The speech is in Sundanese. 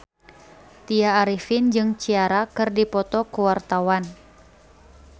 Tya Arifin jeung Ciara keur dipoto ku wartawan